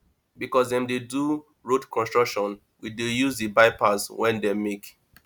because dem dey do road construction we dey use di bypass wey dem make